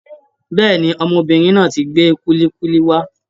Bẹ́ẹ̀ni, ọmọbìnrin náà tí gbé kulikuli wá.